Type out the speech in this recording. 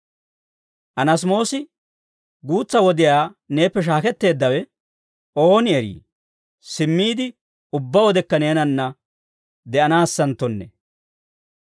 Anaasimoosi guutsa wodiyaa neeppe shaaketteeddawe, ooni eri simmiide, ubbaa wodekka neenanna de'anaassenttonne.